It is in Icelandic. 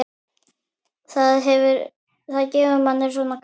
Það gefur manni svona. kraft.